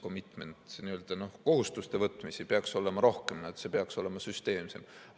– commitment, n-ö kohustuste võtmisi peaks olema rohkem, see peaks olema süsteemsem.